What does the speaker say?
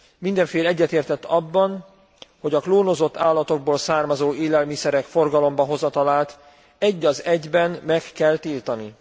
Minden fél egyetértett abban, hogy a klónozott állatokból származó élelmiszerek forgalomba hozatalát egy az egyben meg kell tiltani.